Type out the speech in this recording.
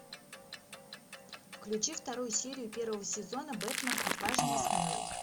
включи вторую серию первого сезона бэтмен отважный и смелый